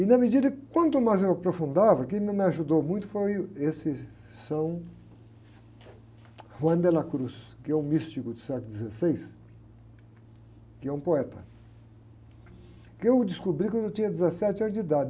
E na medida que, quanto mais eu aprofundava, quem me ajudou muito foi esse San Juan de la Cruz, que é um místico do século dezesseis, que é um poeta, que eu descobri quando eu tinha dezessete anos de idade.